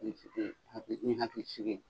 a bɛ ne hakili sigi.